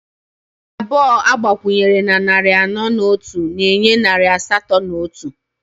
Narị anọ agbakwunyere na narị anọ na otu na-enye narị asatọ na otu